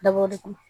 Dabɔ de kama